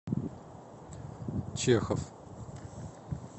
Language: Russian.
чехов